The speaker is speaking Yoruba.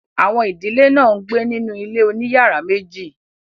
àwọn ìdílé náà ń gbé nínú ilé òní yàrá meji.